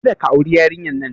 Kada ka auri yarinyar nan!